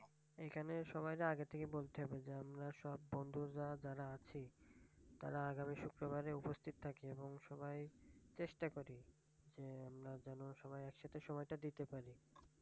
এইখানে সবাইরে আগে থেকে বলতে হবে যে আমরা সবাই বন্ধু যারা যারা আছি তারা আগামী শুক্রবারে উপস্থিত থাকি এবং সবাই চেষ্টা করি যেন সবাই একসাথে সময়টা দিতে পারি